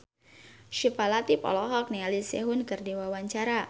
Syifa Latief olohok ningali Sehun keur diwawancara